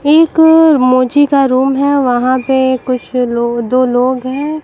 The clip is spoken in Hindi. एक मोजी का रूम हैं वहां पे कुछ लोग दो लोग हैं।